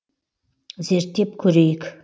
зерттеп көрейік